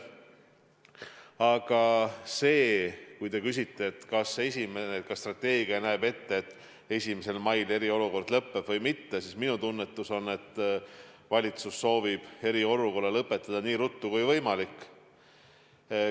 Aga kui te küsite, kas strateegia näeb ette, et 1. mail eriolukord lõppeb, siis minu tunnetus on, et valitsus soovib eriolukorra lõpetada nii ruttu kui võimalik.